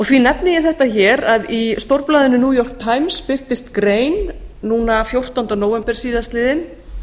því nefni ég þetta hér að í stórblaðinu new york times birtist grein núna fjórtánda nóv síðastliðinn